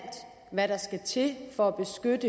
hvad der skal til for